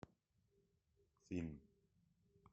фильм